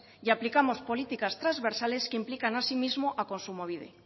y aplicamos políticas transversales que implican asimismo a kontsumobide